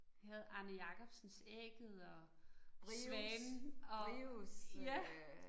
Vi havde Arne Jacobsens Ægget og Svanen og ja